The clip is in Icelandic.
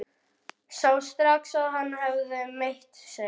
Sá strax að hann hafði meitt sig.